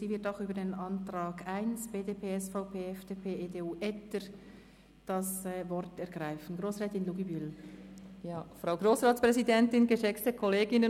Sie wird auch zum Antrag BDP/SVP/FDP/EDU (Etter, Treiten) das Wort ergreifen.